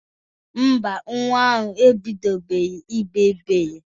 Ḿbà, nwa ahụ ebidobeghi igbe igbe.